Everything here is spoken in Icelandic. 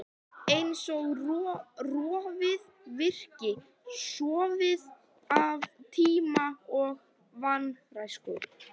Eins og rofið virki, sorfið af tíma og vanrækslu.